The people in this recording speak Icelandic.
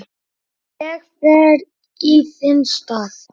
Ég fer í þinn stað